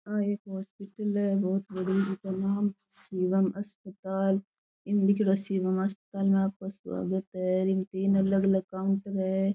आ एक हॉस्पिटल है बहोत बड़ी जिको नाम शिवम अस्पताल इम लिख्योड़ो है शिवम अस्पताल में आपका स्वागत है इम तीन अलग अलग काउंटर है।